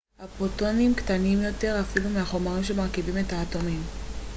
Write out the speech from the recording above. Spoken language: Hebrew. הפוטונים קטנים יותר אפילו מהחומרים שמרכיבים את האטומים